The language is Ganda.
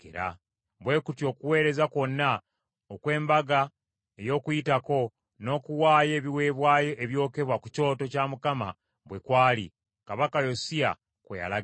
Bwe kutyo okuweereza kwonna okw’Embaga ey’Okuyitako n’okuwaayo ebiweebwayo ebyokebwa ku kyoto kya Mukama bwe kwali, Kabaka Yosiya kwe yalagira.